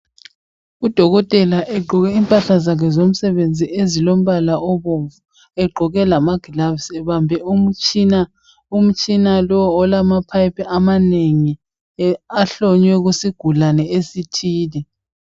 Udokotela egqoke impahla zakhe zomsebenzi ezilombala obomvu, egqoke lamagilavusi ebambe umtshina umtshina lo olamaphayiphi amanengi ahlonywe kusigulane esithile.